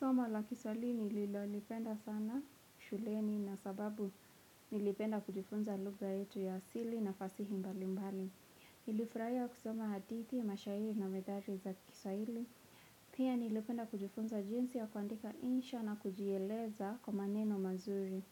Somo la kiswaili nililolipenda sana shuleni na sababu nilipenda kujifunza lugha yetu ya asili na fasihi mbali mbali. Nilifurahia kusoma hadithi, mashahiri na methali za kiswaili. Pia nilipenda kujifunza jinsi ya kuandika insha na kujieleza kwa maneno mazuri.